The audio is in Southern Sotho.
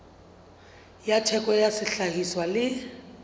tsa theko ya sehlahiswa le